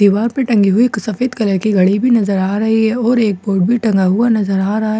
दीवार पर टंगी हुई एक सफेद कलर की घड़ी भी नजर में आ रही है और एक बोर्ड भी टंगा हुआ नजर आ रहा है।